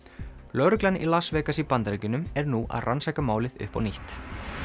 lögreglan í Las Vegas í Bandaríkjunum er nú að rannsaka málið upp á nýtt